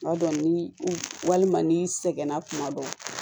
Tuma dɔ ni walima ni sɛgɛnna tuma dɔ